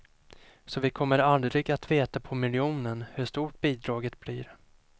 Så vi kommer aldrig att veta på miljonen hur stort bidraget blir.